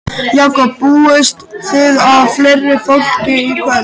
Jakob, búist þið við fleira fólki í kvöld?